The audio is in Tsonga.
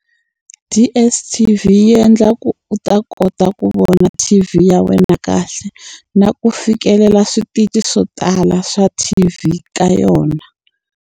DSTV yi endla ku u ta kota ku vona T_V ya wena kahle, na ku fikelela switichi swo tala swa T_V ka yona.